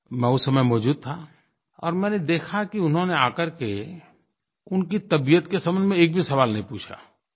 मैं उस समय मौजूद था और मैंने देखा कि उन्होंने आ करके उनकी तबीयत के संबंध में एक भी सवाल नहीं पूछा